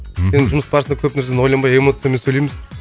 мхм енді жұмыс барысында көп нәрсені ойланбай эмоциямен сөйлейміз